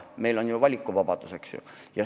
Meil on ju valikuvabadus, eks.